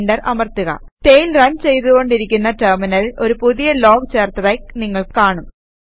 enter അമർത്തുക tail run ചെയ്തു കൊണ്ടിരിക്കുന്ന ടെർമിനലിൽ ഒരു പുതിയ ലോഗ് ചേർത്തതായി നിങ്ങൾ കാണും